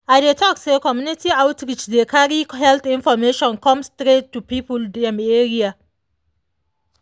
i dey talk say community outreach dey carry health information come straight to people dem area.